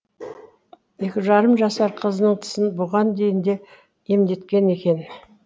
екі жарым жасар қызының тісін бұған дейін де емдеткен екен